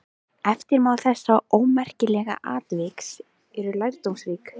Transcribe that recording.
Eftirmál þessa ómerkilega atviks eru lærdómsrík.